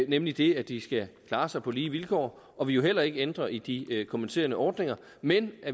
nemlig det at de skal klare sig på lige vilkår og vi vil heller ikke ændre i de kompenserende ordninger men